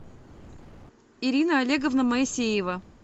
ирина олеговна моисеева